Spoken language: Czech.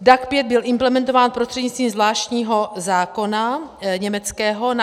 DAC 5 byl implementován prostřednictvím zvláštního německého zákona.